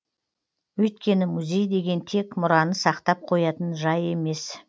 өйткені музей деген тек мұраны сақтап қоятын жай емес